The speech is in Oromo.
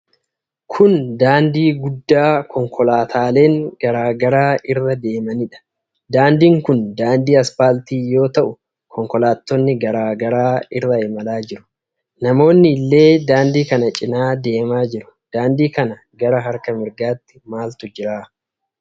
Kun daandii guddaa konkolaataaleen garaa garaa irra deemanidha. Daandiin kun daandii aspaaltii yoo ta'u, konkolaattonni garaa garaa irra imalaa jiru. Namoonni illee daandii kana cinaa deemaa jiru. Daandii kana gara harka mirgaatti maaltu jira?